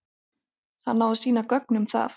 Hann á að sýna gögn um það.